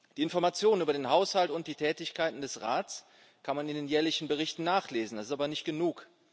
Die Information über den Haushalt und die Tätigkeiten des Rats kann man in den jährlichen Berichten nachlesen. Das ist aber nicht genug.